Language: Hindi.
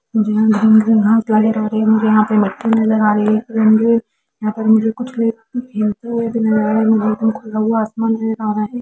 मुझे यहां मुझे यहां मिट्टी नज़र आ रही है मुझे यहां कुछ मुझे आ रहा है मुझे खुला हुआ आसमान नज़र आ रहा है।